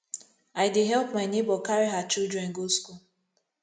i dey help my nebor carry her children go school